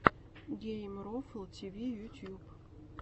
геймрофл тиви ютуб